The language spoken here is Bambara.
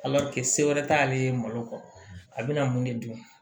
se wɛrɛ t'ale ye malo kan a bɛna mun de dun